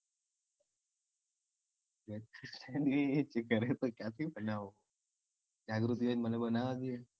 ગરે તો ક્યાંથી બનાઉં? જાગૃતિ હોય તો મને બનાવ દે?